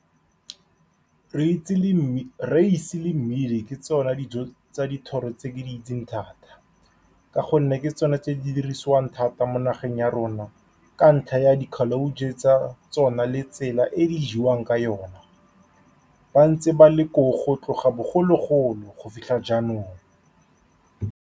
le , Raese le mmidi ke tsone dijo tsa dithoro tse ke di itseng thata, ka gonne ke tsone tse di dirisiwang thata mo nageng ya rona. Kantlha ya di tsa tsone le tsela e di jewang ka yone, ba ntse ba le koo go tloga bogologolo go fitlha jaanong.